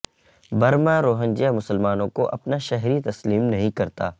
Burma Rohingya مسلمانوں کو اپنا شہری تسلیم نہیں کرتا